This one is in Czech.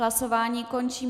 Hlasování končím.